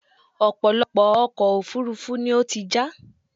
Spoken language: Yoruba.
ọ̀pọ̀lọpọ̀ ọkọ̀ òfurufú ni ó ti já